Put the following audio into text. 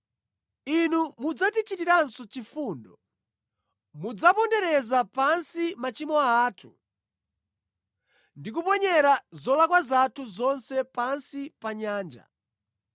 Inu mudzatichitiranso chifundo; mudzapondereza pansi machimo athu ndi kuponyera zolakwa zathu zonse pansi pa nyanja.